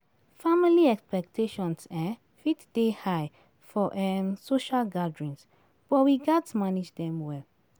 Family expectations um fit dey high for um social gatherings, but we gats manage dem well.